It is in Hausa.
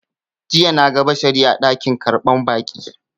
Jiya na ga Bashari a dakin karɓar baƙi.